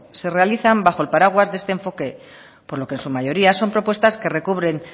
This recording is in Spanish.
se realizan bajo el paraguas de este enfoque por lo que en su mayoría son propuestas que recubren